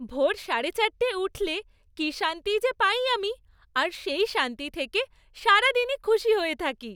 ভোর সাড়ে চারটে উঠলে কি শান্তি যে পাই আমি আর সেই শান্তি থেকে সারাদিনই খুশি হয়ে থাকি।